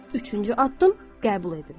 Üçüncü addım qəbul edin.